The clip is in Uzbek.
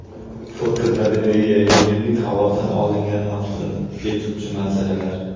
Fotogalereya: Yerning havodan olingan maftun etuvchi manzaralari.